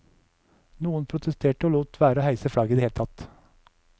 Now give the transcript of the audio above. Noen protesterte og lot være å heise flagget i det hele tatt.